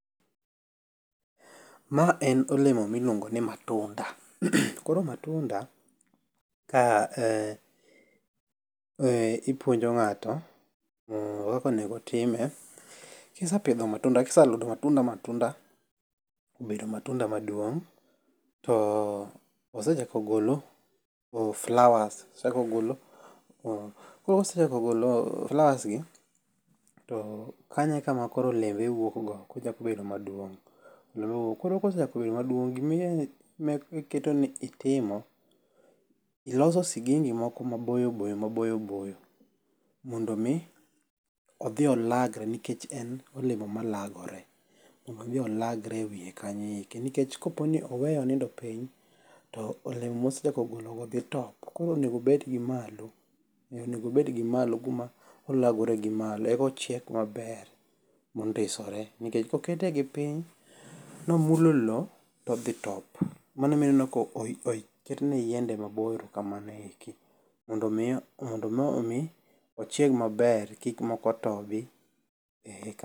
Ma en olemo miluongo ni matunda. Koro matunda ipuonjo ng'ato kaka onego otime. Kisepidho matunda kiseludo matunda ma matunda obedo matunda maduong'. To osechako golo flowers osechako golo. Kose chako golo flowers gi to kanyo e kama koro olembe wuok go kochako bedo maduong' olembe wuok. Koro kosechako bedo maduong' gimi ng'e iketo ni itimo iloso sigingi moko maboyo boyo maboyo boyo mondo mi odhi olagre nikech en olemo ma lagore mondo odhi olagre e wiye kanyo eko. Nikech kopo ni oweye onindo piny to olemo mosechako golo go dhi top koro onego obed gi malo kuma olagore gi malo eko chiek maber mondosore. Nikech kokete gi piny nomulo low to odhi top. Mano omiyo ineno oket ne yiende maboyo kamano eki. Mondo miyo mi ochiek maber kik moko tobi